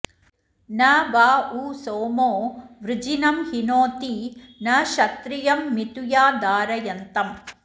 न वा उ सोमो वृजिनं हिनोति न क्षत्रियं मिथुया धारयन्तम्